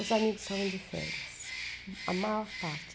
Os amigos estavam de férias, a maior parte.